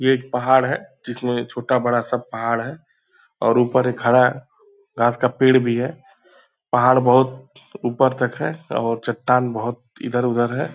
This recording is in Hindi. ये एक पहाड़ है जिसमें छोटा-बड़ा सब पहाड़ है और ऊपर एक हरा घास का पेड़ भी है। पहाड़ बहुत ऊपर तक है और चट्टान बहुत इधर उधर है।